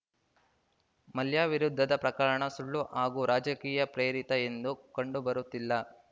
ಮಲ್ಯ ವಿರುದ್ಧದ ಪ್ರಕರಣ ಸುಳ್ಳು ಹಾಗೂ ರಾಜಕೀಯ ಪ್ರೇರಿತ ಎಂದು ಕಂಡುಬರುತ್ತಿಲ್ಲ